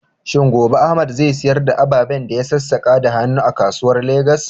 Shin gobe Ahmad zai sayar da ababen da ya sassaka da hannu a kasuwa a Legas?